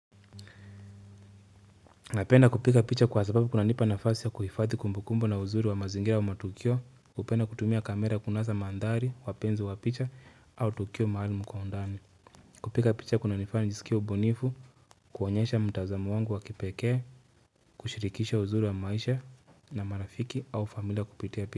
Napenda kupiga picha kwa sababu kunanipa nafasi ya kuhifadhi kumbukumbu na uzuri wa mazingira wa matukio hupenda kutumia kamera kunasa mandhari wapenzi wa picha au tukio maalumu kwa undani. Kupiga picha kunanifanya nijisikie ubunifu, kuonyesha mtazamo wangu wa kipekee, kushirikisha uzuri wa maisha na marafiki au familia kupitia picha.